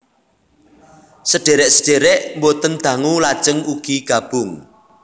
Sedhèrèk sedhèrèk boten dangu lajeng ugi gabung